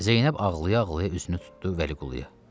Zeynəb ağlaya-ağlaya üzünü tutdu Vəliquluya.